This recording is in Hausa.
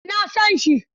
Eh, na san shi.